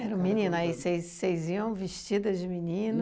Era um menino, aí vocês vocês iam vestidas de menino?